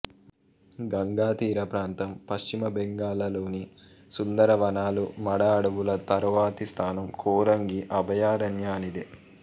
గంగాతీర ప్రాంతం పశ్చిమ బెంగాల్లోని సుందర వనాలు మడ అడవుల తరువాతి స్థానం కోరంగి అభయారణ్యానిదే